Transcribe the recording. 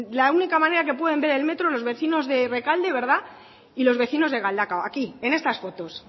la única manera que pueden ver el metro los vecinos de rekalde verdad y los vecinos de galdakao aquí en estas fotos